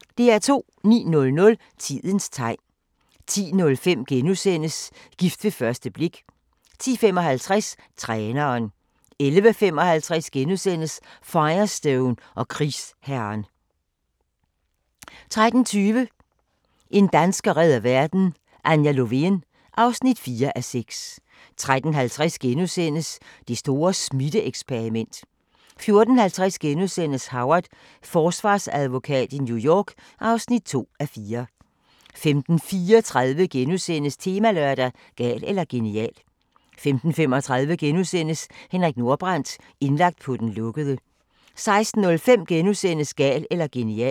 09:00: Tidens tegn 10:05: Gift ved første klik * 10:55: Træneren 11:55: Firestone og krigsherren * 13:20: En dansker redder verden - Anja Lovén (4:6) 13:50: Det store smitte-eksperiment * 14:50: Howard – forsvarsadvokat i New York (2:4)* 15:34: Temalørdag: Gal eller genial * 15:35: Henrik Nordbrandt – indlagt på den lukkede * 16:05: Gal eller genial *